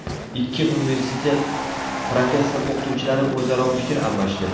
Ikki universitet professor-o‘qituvchilari o‘zaro fikr almashdi.